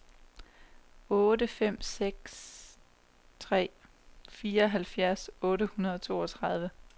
otte fem tre seks fireoghalvtreds otte hundrede og toogtredive